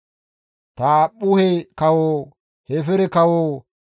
Taaphphuhe kawo, Hefeere kawo,